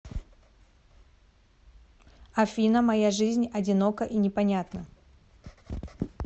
афина моя жизнь одинока и непонятна